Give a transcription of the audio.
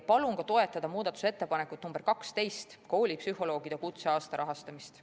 Palun toetada ka muudatusettepanekut nr 12, koolipsühholoogide kutseaasta rahastamist.